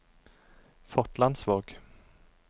Fotlandsvåg